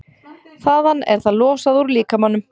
Þaðan er það losað úr líkamanum.